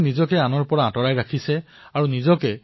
কোনো স্থানত কিছুমান লোকে নিজৰ দায়িত্ব গম্ভীৰতাৰে পালন কৰিছে